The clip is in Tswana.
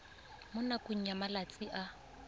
mo nakong ya malatsi a